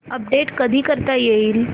update कधी करता येईल